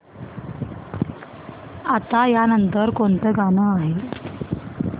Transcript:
आता या नंतर कोणतं गाणं आहे